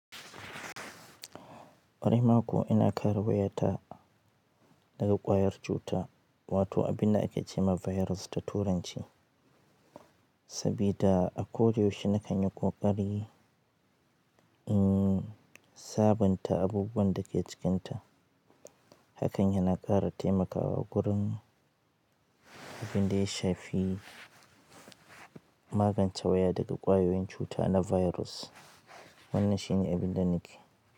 Kwaraima kuwa ina kare waya ta daga ƙwayar cuta, wato abin da ake ce ma virus ta turanci, sabida a ko da yaushe na kan yi ƙoƙari, in sabunta abubuwan da ke cikinta. Hakan yana ƙara taimakawa wurin abin da ya shafi magance waya daga ƙwayoyin cuta na virus. Wannan shi ne abin da nake.